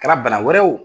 Kɛra bana wɛrɛ ye o